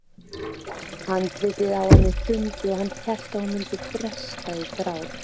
Andlitið á henni hrundi og hann hélt að hún myndi bresta í grát.